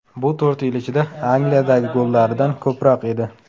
Bu to‘rt yil ichida Angliyadagi gollaridan ko‘proq edi.